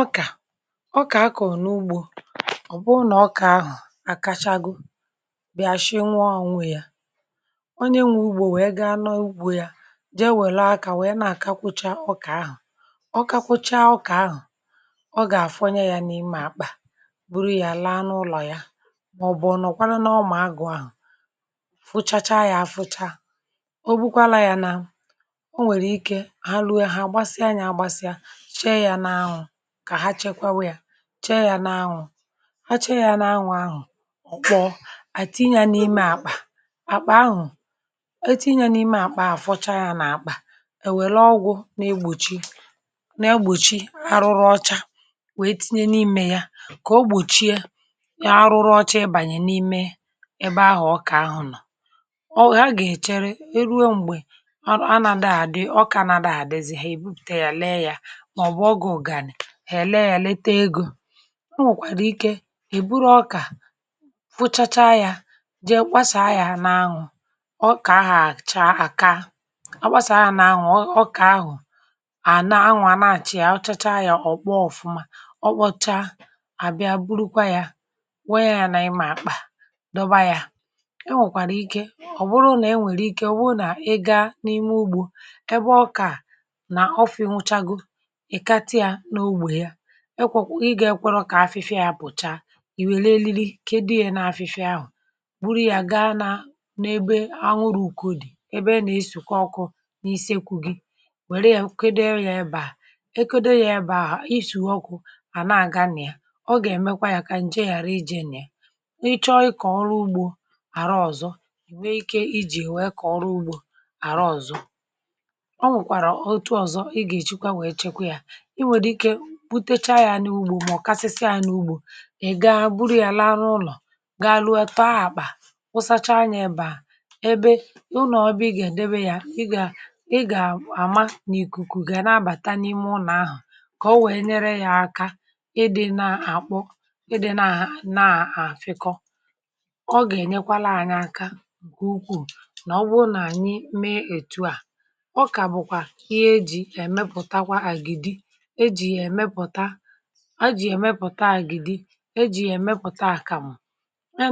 Ọkà, um, akọ̀ n’ugbò bụ̀ ihe dị ezigbo mkpa. Ọ̀ bụrụ na ọkà ahụ̀ àkachagọ, bịa, àsị nwaọ̀ ànwụọ, ọ na-enwè ugbò wee gaa n’ugbò ya, jee wèlè aka, wèe na-akakwụcha ọkà ahụ̀. Ọkà kwụchaa, ọkà ahụ̀ ọ gà-àfọnye ya n’ime àkpà, buru ya laa n’ụlọ̀ ya. Ma, um, ọ̀nọ̀kwanụ, n’ọmà agụ̀ ahụ̀ fụchacha ya - afụcha - ọ̀ bụkwa n’ihi na o nwere ike, ha lụ̀gì ya, hà àgbasịa ya, um àgbasịa, shìe ya n’ahụ̀, chée ya n’anwụ̇. Ha chée ya n’anwụ̇ ahụ̀ kpọ̀ọ̀, tinye n’ime àkpà. Àkpà ahụ̀ e fọchaa, a fọchaa ya nke ọma, èwèrè ọgwụ̇ n’egbòchi arụrụ ọcha, wee tinye n’ime ya kà o gbòchie arụrụ ọcha ịbànyè n’ime ebe ahụ̀ ọkà ahụ̀ nọ̀... Ha gà-èchere, e ruo mgbe ọkà àdị̀, ọkà àna-àdị̀ zì ha, èbupùte ya, lee ya ènwèkwara ike. Èbụrụ ọkà fụchacha, jee gbasàa ya n’anwụ̇. Ọkà ahụ̀ àcha àka, a gbasàa ya n’anwụ̇, ọkà ahụ̀ àna-anwụ̇, à na-àchị ya, ọ̀ chacha, ọ̀ kpọọ ọfụma. Ọ kpọchaa, àbịa, burukwa ya, wéé ya n’ime àkpà, dọba ya. Ènwèkwara ike, um, ọ̀ bụrụ na e nwèrè ike, ọ̀ bụrụ na ị gà n’ime ugbò ebe ọkà nọ, ofu̇, hụchaa ekwò um i gà-ekworo kà afịfịa ya pụ̀cha.Ì wèrè lili, kedu ya na afịfịa ahụ̀, buru ya gaa n’ebe anwụrụ̇ ùku dị̀, ebe a na-esùkwa ọkụ n’íse, kwu gị, wère ya, e kèdo ya ebe a, e kèdo ya ebe a. Ìsù ọkụ à na-aga nà ya, ọ gà-èmekwa ka ǹje ghàra ịbà, nye gị ohere ịkọ̀ ọrụ ugbò àrọ ọzọ... Ì nwekwara ike iji wee kọrụ ugbò àrọ ọzọ. Ọ nwekwara ọtụtụ ụzọ ndị ọzọ ị gà-èjikwa wee chekwa ya. Ǹke à bụ̀ ùkwùrù ụlọ̀, mà onye chaa ya n’ugbò, mà ọ̀kasịsị ya n’ugbò. Ì gaa buru ya laa n’ụlọ̀, ga-alụ eto ahụ̀kpà, ụsacha ya, ịbà ebe ụlọ̀, ọbị, ị gà-èdebe ya, ị gà-àma nà ìkùkù gà um na-abàta n’ime ụlọ̀ ahụ̀ kà o wèe nyere ya aka. Ì dị̇ na-àkpọ, um, ì dị̇ na-àfịkọ, ọ gà-ènyekwa laa anya. Aka ukwuù nà ọ, um ọ bụrụ na ànyị mee otú a, ọ kà bụ̀kwa ihe eji̇ emepùta àgìdi, a jìkwa ya emepùta àkàmụ̀. A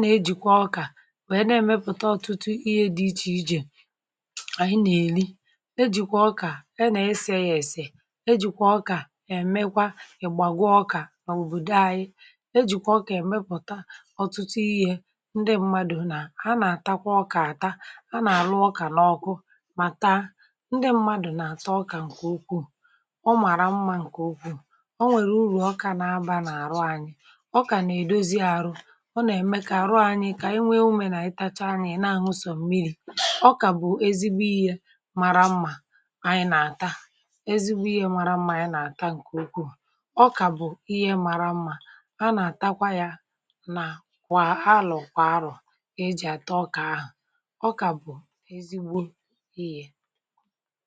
na-ejikwa ọkà mee ọtụtụ ihe dị iche iche ànyị nà-èli, e jìkwa ọkà esi nri, e jìkwa ọkà ème ìgbàgwa. Ọkà, um, bụ̀ ezigbo ihe bara uru. Òbòdò ànyị nà-eji ọkà emepùta ọtụtụ ihe ndị mmadụ na-àta ọkà, àta ha n’ọkụ, mà taa... Ndị mmadụ nà-ata ọkà, nke a bụ okwu mara mmà. Ọkà nwere uru, ọkà nà-abà n’ọrụ anyị, ọkà nà-èdozi àrụ, ọ na-eme ka àrụ anyị kà enwee ume, nà-àịtacha anyị, na-ahụ sọ̀miri. Ọkà bụ̀ ezigbo ihe mara mmà. Ànyị nà-ata ọkà ezigbo ihe mara mmà, ǹkè ukwuù. Ọkà bụ̀ ihe bara uru nke ukwuu,.. à na-ejikwa ya n’àlọ̀, n’arọ̀, e ji àtọ ọkà ahụ̀. Ọkà bụ̀ ezigbo ihe.